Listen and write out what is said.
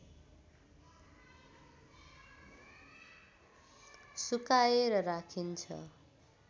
सुकाएर राखिन्छ